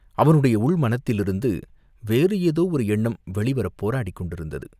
அவனுடைய உள் மனத்திலிருந்து வேறு ஏதோ ஒரு எண்ணம் வெளிவரப் போராடிக் கொண்டிருந்தது.